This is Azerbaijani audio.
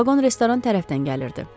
Vaqon restoran tərəfdən gəlirdi.